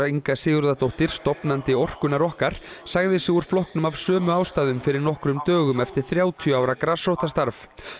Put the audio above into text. Inga Sigurðardóttir stofnandi orkunnar okkar sagði sig úr flokknum af sömu ástæðum fyrir nokkrum dögum eftir þrjátíu ára grasrótarstarf